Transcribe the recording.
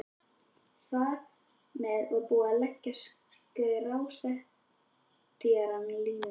Þar með var búið að leggja skrásetjaranum línurnar.